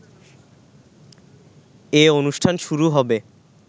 এ অনুষ্ঠান শুরু হবে